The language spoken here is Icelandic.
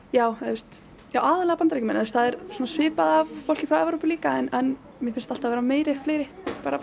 já já aðallega Bandaríkjamenn það er svipað af fólki frá Evrópu líka en mér finnst alltaf vera fleiri